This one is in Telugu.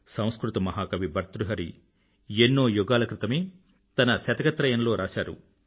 సంస్కృత మహా కవి భర్తృహరి ఎన్నో యుగాల క్రితమే తన శతకత్రయం లో రాశారు